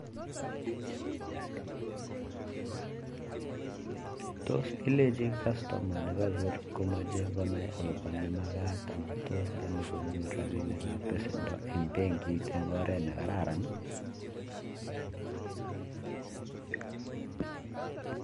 Tos kilechin customer nee nyony komech konai akopa ne makat amuu tos yamee konyor rapinik ab pesenda eng benkit eng oret nee kararan